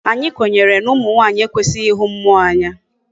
Anyi kwenyere na umu nwanyi ekwesighi ihu mmuo Anya